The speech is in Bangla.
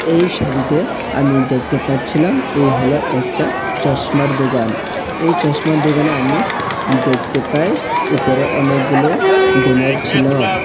এই ছবিতে আমি দেখতে পাচ্ছিলাম এই হল একটা চশমার দোকান এই চশমার দোকানে আমি দেকতে পাই ওপরে অনেকগুলো ব্যানার ছিল।